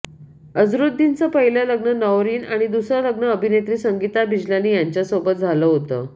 अझरुद्दीनचं पहिलं लग्न नौरीन आणि दुसरं लग्न अभिनेत्री संगिता बिजलानी यांच्यासोबत झालं होतं